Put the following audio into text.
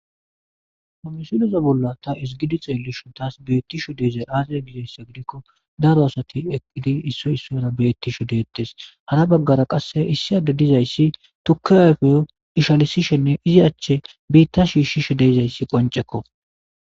Ha misileza bolla ta ezigada ta xellishin bettishe de'izay azee gizaysa gidikko daro asati eqidi issoy issara beettishe de'ettes hara bagara qase issi adde dizaysi tukke ishalisishen e izzi achchi bitta sgishishe de'izaysi qonc'ekko.